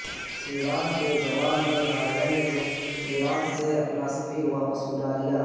ایران کے جواب میں ہالینڈ نے ایران سے اپنا سفیر واپس بلا لیا